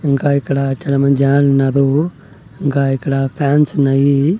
ఇంకా ఇక్కడ చాలా మంద్ జనాలున్నారు ఇక్కడ ఫ్యాన్స్ ఉన్నాయి.